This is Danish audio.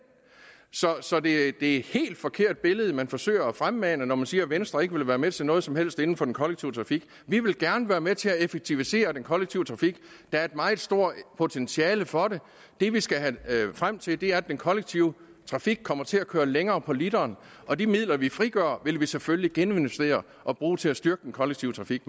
så det er et helt helt forkert billede man forsøger at fremmane når man siger at venstre ikke vil være med til noget som helst inden for den kollektive trafik vi vil gerne være med til at effektivisere den kollektive trafik der er et meget stort potentiale for det det vi skal frem til er at den kollektive trafik kommer til at køre længere på literen og de midler vi frigør vil vi selvfølgelig geninvestere og bruge til at styrke den kollektive trafik